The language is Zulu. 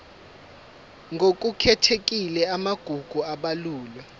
ngokukhethekile amagugu abalulwe